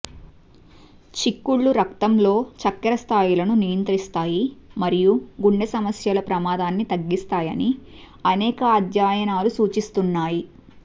చిక్కుళ్ళు రక్తంలో చక్కెర స్థాయిలను నియంత్రిస్తాయి మరియు గుండె సమస్యల ప్రమాదాన్ని తగ్గిస్తాయని అనేక అధ్యయనాలు సూచిస్తున్నాయి